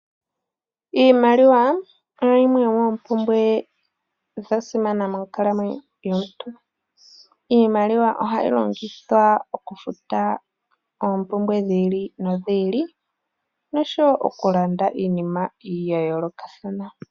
Iimaliwa oyo yimwe yomoompumbwe ndhoka dhasimana moonkalamwenyo dhaantu. Iimaliwa ohayi longithwa okufuta oompumbwe dhi ili nodhi ili osho wo okulanda iinima yayoolokathana.